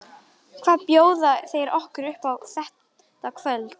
Hvað bjóða þeir okkur upp á þetta kvöldið?